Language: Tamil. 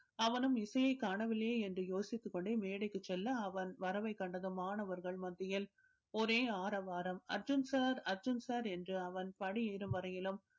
அவனும் இசையை காணவில்லையே என்று யோசித்துக் கொண்டே மேடைக்கு செல்ல அவன் வரவை கண்டதும் மாணவர்கள் மத்தியில் ஒரே ஆறவாரம் அர்ஜுன் sir அர்ஜுன் sir என்று அவன் படி ஏறும் வரையிலும்